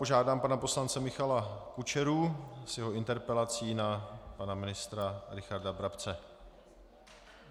Požádám pana poslance Michala Kučeru s jeho interpelací na pana ministra Richarda Brabce.